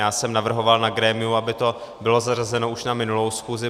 Já jsem navrhoval na grémiu, aby to bylo zařazeno už na minulou schůzi.